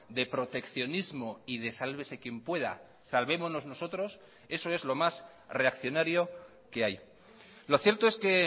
de proteccionismo y de sálvese quien pueda salvémonos nosotros eso es lo más reaccionario que hay lo cierto es que